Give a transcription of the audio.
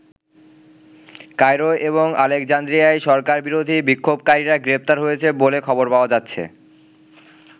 Cairo এবং আলেকজান্দ্রিয়ায় সরকারবিরোধী বিক্ষোভকারীরা গ্রেপ্তার হয়েছে বলে খবর পাওয়া যাচ্ছে।